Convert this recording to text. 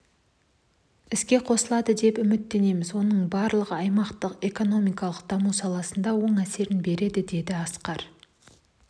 іске қосылады деп үміттенеміз оның барлығы аймақтың экономикалық дамуы саласында оң әсерін береді деді асқар